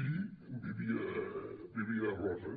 i vivia a roses